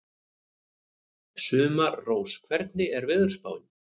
Sumarrós, hvernig er veðurspáin?